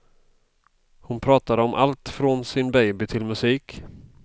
Hon pratade om allt från sin baby till musik.